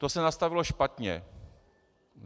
To se nastavilo špatně.